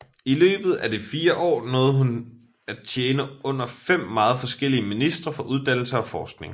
I løbet af de fire år nåede hun at tjene under fem meget forskellige ministre for uddannelse og forskning